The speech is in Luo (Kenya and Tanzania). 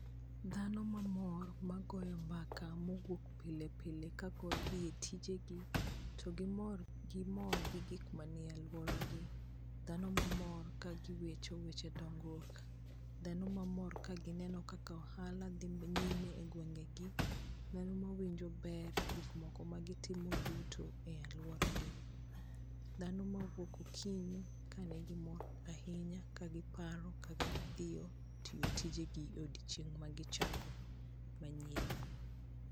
Dhano mamor magoyo mbaka mowuok pile pile kaka odhi e tijegi to gimor, gimor gi gik manie aluoragi. Dhano mamor kagiwacho weche dongruok, dhano mamor kagineno kaka ohala dhi nyime egwengegi, dhano mawinjo ber e gik moko magitimo duto e aluoragi. Dhano mawuok okinyi kanigimor ahinya kagiparo kaka gidhiyo tiyo tijegi e odiechieng' magichako manyien.